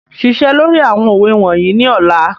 Ṣiṣẹ́ lórí àwọn òwe wọ̀nyí ní ọ̀la.